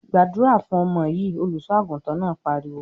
"Gbàdúrà fún ọmọ yìí!" Olùṣọ́-àgùntàn náà pariwo.